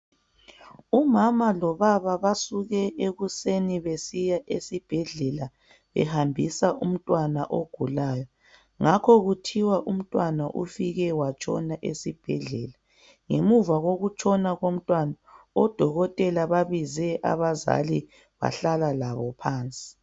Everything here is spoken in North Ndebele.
Umama lobaba basuke ekuseni besiya esibhedlela behambisa umntwana ogulayo, ngakho kuthiwa umntwana ufike watshona esibhedlela. Ngemva kokutshona komntwana, odokotela bababize abazali bahlala labo phansi.